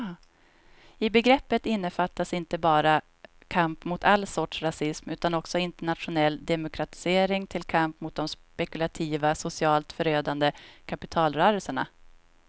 I begreppet innefattas inte bara kamp mot all sorts rasism utan också internationell demokratisering till kamp mot de spekulativa, socialt förödande kapitalrörelserna.